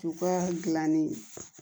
U ka dilanni